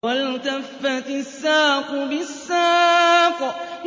وَالْتَفَّتِ السَّاقُ بِالسَّاقِ